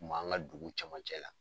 Kun b'an ka dugu camancɛ la.